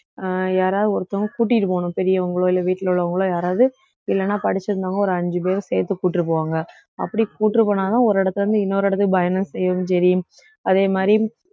அஹ் யாராவது ஒருத்தவங்க கூட்டிட்டு போகணும் பெரியவங்களோ இல்ல வீட்டுல உள்ளவங்களோ யாராவது இல்லைன்னா படிச்சு இருந்தவங்க ஒரு அஞ்சு பேரை சேர்த்து கூட்டிட்டு போவாங்க அப்படி கூட்டிட்டு போனாதான் ஒரு இடத்துல இருந்து இன்னொரு இடத்துக்கு அதே மாதிரி